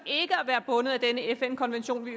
være bundet af denne fn konvention at